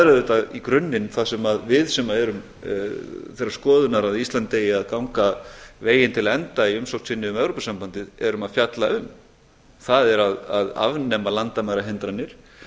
auðvitað í grunninn það sem við sem erum þeirrar skoðunar að ísland eigi að ganga veginn til enda í umsókn sinni um evrópusambandið erum að fjalla um það er að afnema landamærahindranir